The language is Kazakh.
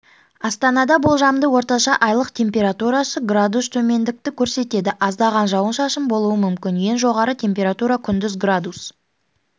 астанада болжамды орташа айлық температурасы градус төмендікті көрсетеді аздаған жауын-шашын болуы мүмкін ең жоғарғы температура күндіз градус